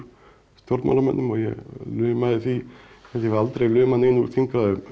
stjórnmálamönnum og ég laumaði því held ég hafi aldrei laumað neinu úr þingræðum